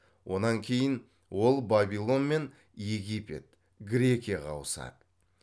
онан кейін ол бабилон мен египет грекияға ауысады